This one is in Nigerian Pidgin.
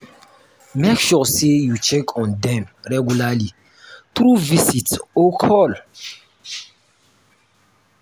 make sure say you check on them regularly through visit or call